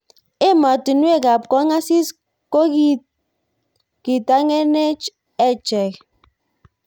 Emotunwek ab kong asis kokitangeenech echeket.